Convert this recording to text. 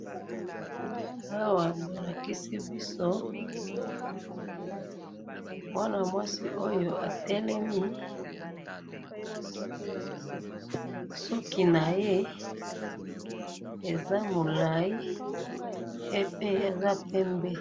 Awa bolakisi biso mwana mwasi oyo atelemi, suki naye eza mulayi, yepe aza pembe.